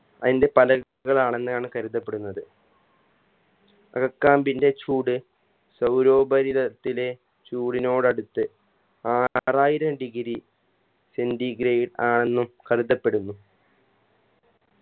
അയിന്റെ പല ആണെന്നാണ് കരുതപ്പെടുന്നത് അകക്കാമ്പിന്റെ ചൂട് സൗരോപരിതലത്തിലെ ചൂടിനോടടുത്ത് ആറായിരം degree centigrade ആന്നും കരുതപ്പെടുന്നു